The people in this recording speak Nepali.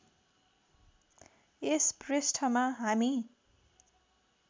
यस पृष्ठमा हामी